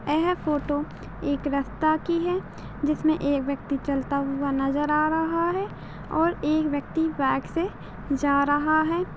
यह फोटो एक रस्ता की है जिसमे एक व्यक्ति चलता हुआ नजर आ रहा है और एक व्यक्ति बाइक से जा रहा है।